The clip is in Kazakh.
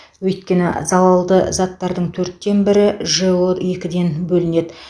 өйткені залалды заттардың төрттен бірі жэо екіден бөлінеді